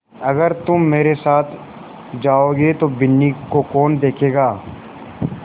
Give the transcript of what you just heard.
अगर तुम मेरे साथ जाओगे तो बिन्नी को कौन देखेगा